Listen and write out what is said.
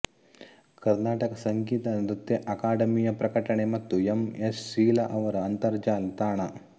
ಕರ್ನಾಟಕ ಸಂಗೀತ ನೃತ್ಯ ಅಕಾಡೆಮಿಯ ಪ್ರಕಟಣೆ ಮತ್ತು ಎಂ ಎಸ್ ಶೀಲಾ ಅವರ ಅಂತರಜಾಲ ತಾಣ